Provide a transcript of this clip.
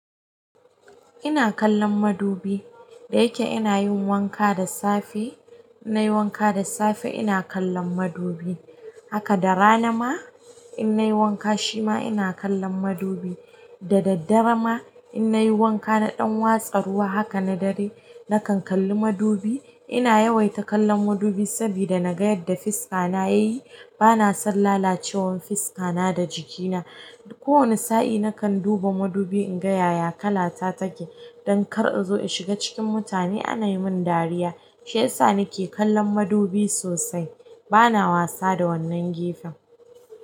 Ina kallon madubi, da yake ina yin wanka da safe, ina yi wanka da safe ina kallon madubi. Haka da rana ma ina yi wanka shima ina kallon madubi. Da daddare ma ina yi wanka na ɗan watsa ruwa, haka na dare nakan kalli madubi. Ina yawaita kallon madubin sabida naga yanda fuska na yayi. Bana son lalacewar fiska na da jikina. Kowane sa'i naka duba madubi, in ga ya ya kallata take? Don kar zo in shiga cikin mutane in ga ana min dariya. Shi yasa nike kallon madubi sosai. Bana wasa da wannan gefen.